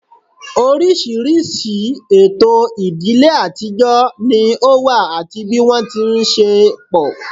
Oríṣiríṣi ètò ìdílé àtijọ́ ni ó wà àti bí wọ́n ti ń ṣe pọ̀